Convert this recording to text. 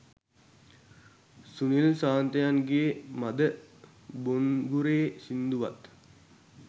සුනිල් සාන්තයන්ගේ මද බොන්ගුරේ සින්දුවත්